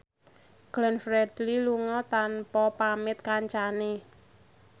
Glenn Fredly lunga tanpa pamit kancane